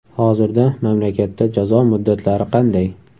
Hozirda mamlakatda jazo muddatlari qanday?.